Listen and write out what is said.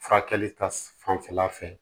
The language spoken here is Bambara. Furakɛli ta fanfɛla fɛ